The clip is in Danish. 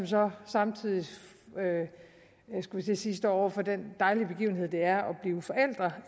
som samtidig står over for den dejlige begivenhed det er at blive forældre